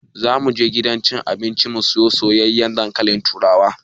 Za mu je gidan cin abinci mu sayi soyayyen dankalin turawa.